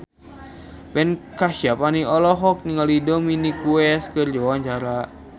Ben Kasyafani olohok ningali Dominic West keur diwawancara